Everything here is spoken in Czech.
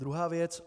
Druhá věc.